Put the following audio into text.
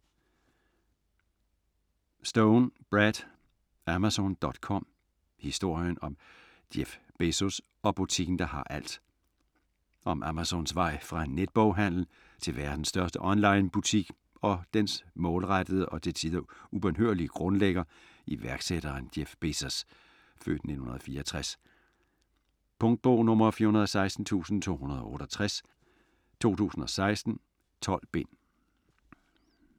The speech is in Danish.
Stone, Brad: Amazon.com: historien om Jeff Bezos og butikken der har alt Om Amazons vej fra netboghandel til verdens største onlinebutik og dets målrettede og til tider ubønhørlige grundlægger, iværksætteren Jeff Bezos (f. 1964). Punktbog 416268 2016. 12 bind.